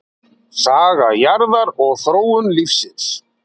Saga jarðar og þróun lífsins.